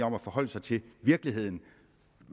om at forholde sig til virkeligheden